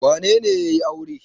Wane ne ya yi aure?